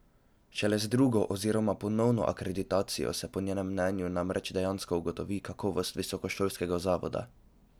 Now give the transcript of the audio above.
Šele z drugo oziroma ponovno akreditacijo se po njenem mnenju namreč dejansko ugotovi kakovost visokošolskega zavoda.